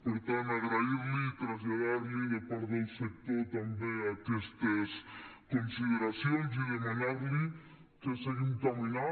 per tant agrair li i traslladar li de part del sector també aquestes consideracions i demanar li que seguim caminant